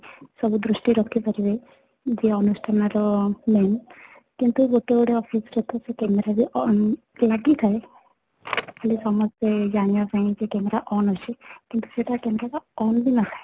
ସବୁ ଦୃଷ୍ଟି ରଖି ପାରିବେ ଯେ ଅନୁଷ୍ଠାନ ର କିନ୍ତୁ ଗୋଟେ ଗୋଟେ office ର ତ ସେ camera ରେ on ଲାଗିଥାଏ ହେଲେ ସମସ୍ତେ ଜାଣିବା ପାଇଁ କି camera on ଅଛି କିନ୍ତୁ ସେଇଟା camera ଟା on କି ନାହିଁ